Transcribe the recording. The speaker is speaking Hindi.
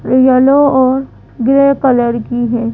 येलो और ग्रे कलर की है।